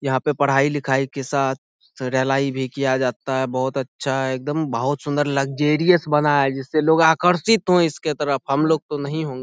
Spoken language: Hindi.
यहाँ पे पढाई लिखाई के साथ भी किया जाता हैं बहुत अच्छा है एकदम बहुत सुंन्दर लग्जरियस बना हैं जिससे लोग आकर्षित हो इसके तरफ हम लोग तो नही हो --